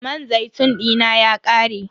Man zaitun dina ya ƙare.